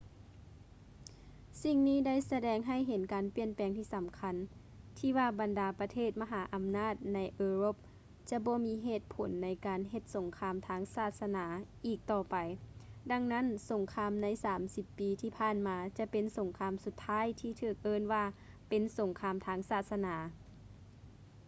ສິ່ງນີ້ໄດ້ສະແດງໃຫ້ເຫັນການປ່ຽນແປງທີ່ສຳຄັນ ທີ່ວ່າບັນດາປະເທດມະຫາອຳນາດໃນເອີຣົບຈະບໍ່ມີເຫດຜົນໃນການເຮັດສົງຄາມທາງສາສະໜາອີກຕໍ່ໄປ ດັ່ງນັ້ນ ສົງຄາມໃນສາມສິບປີທີ່ຜ່ານມາຈະເປັນສົງຄາມສຸດທ້າຍທີ່ຖືກເອີ້ນວ່າເປັນ ສົງຄາມທາງສາສະໜາ